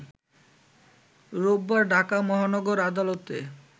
রোববার ঢাকা মহানগর আদালতে